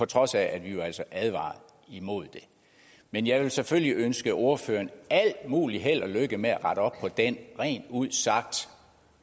trods af at vi advarede imod det men jeg vil selvfølgelig ønske ordføreren alt muligt held og lykke med at rette op på den rent ud sagt